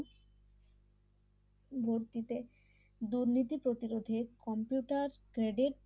ভর্তিতে দুর্নীতি প্রতিরোধে কম্পিউটার গ্রেডেড